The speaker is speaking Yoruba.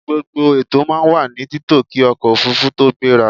Gbogbo ètò máa wà ní títò kí ọkọ̀ òfurufú tó gbéra.a